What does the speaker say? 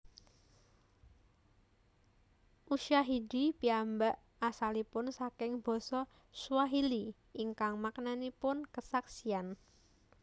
Ushahidi piyambak asalipun saking basa Swahili ingkang maknanipun kesaksian